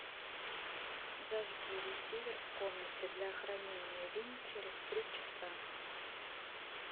зажги ресивер в комнате для хранения вин через три часа